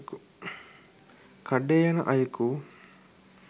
කඩේ යන අයකු